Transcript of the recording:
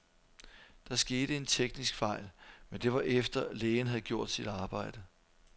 Der skete en teknisk fejl, men det var efter, lægen havde gjort sit arbejde.